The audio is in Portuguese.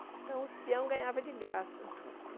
Então, os peões ganhavam de graça.